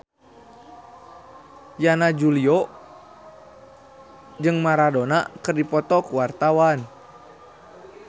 Yana Julio jeung Maradona keur dipoto ku wartawan